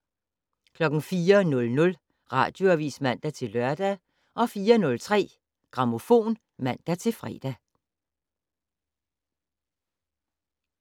04:00: Radioavis (man-lør) 04:03: Grammofon (man-fre)